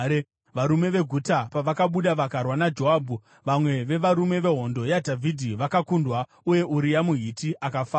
Varume veguta pavakabuda vakarwa naJoabhu, vamwe vevarume vehondo yaDhavhidhi vakakundwa; uye Uria muHiti akafawo.